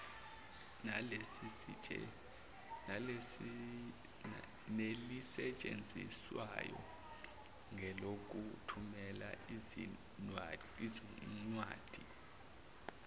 nelisetshenziswayo ngelokuthumela izinwadi